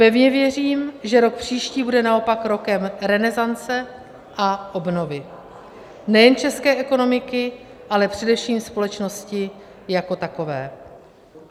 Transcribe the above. Pevně věřím, že rok příští bude naopak rokem renesance a obnovy nejen české ekonomiky, ale především společnosti jako takové.